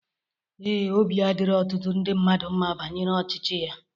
Ee, obi adirọ ọtụtụ ndị mmadu mma banyere ọchịchị ya.